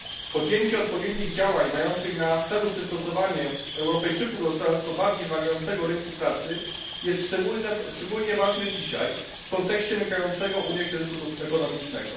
Podjęcie odpowiednich działań mających na celu przystosowanie Europejczyków do coraz to bardziej wymagającego rynku pracy jest szczególnie ważne dzisiaj, w kontekście nękającego Unię kryzysu ekonomicznego.